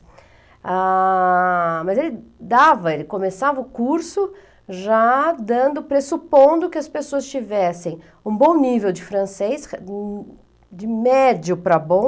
Ah... Mas ele dava, ele começava o curso já dando, pressupondo que as pessoas tivessem um bom nível de francês, de médio para bom.